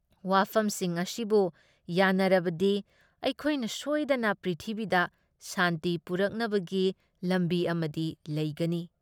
ꯋꯥꯐꯝꯁꯤꯡ ꯑꯁꯤꯕꯨ ꯌꯥꯟꯅꯔꯕꯗꯤ ꯑꯩꯈꯣꯏꯅ ꯁꯣꯏꯗꯅ ꯄ꯭ꯔꯤꯊꯤꯕꯤꯗ ꯁꯥꯟꯇꯤ ꯄꯨꯔꯛꯅꯕꯒꯤ ꯂꯝꯕꯤ ꯑꯃꯗꯤ ꯂꯩꯒꯅꯤ ꯫